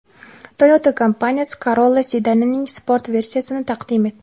Toyota kompaniyasi Corolla sedanining sport versiyasini taqdim etdi.